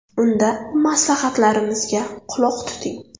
Unda maslahatlarimizga quloq tuting!